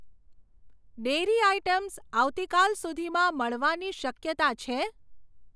Dairy items આવતીકાલ સુધીમાં મળવાની શક્યતા છે?